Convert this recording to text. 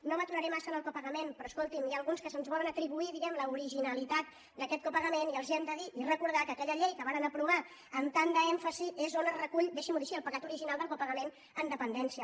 no m’aturaré massa en el copagament però escolti’m n’hi ha alguns que se’ns volen atribuir diguem l’originalitat d’aquest copagament i els hem de dir i recordar que aquella llei que varen aprovar amb tant d’èmfasi és on es recull deixin m’ho dir així el pecat original del copagament en dependència